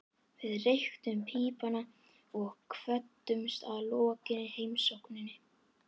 Við reyktum pípuna og kvöddumst að lokinni heimsókninni.